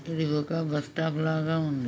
ఇది ఒక bus stop లాగా ఉంది.